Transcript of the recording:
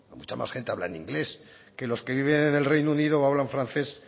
mucha más gente habla en inglés que los que viven en el reino unido o hablan francés